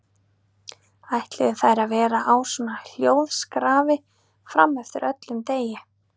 Ætluðu þær að vera á svona hljóðskrafi fram eftir öllum degi?